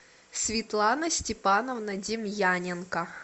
светлана степановна демьяненко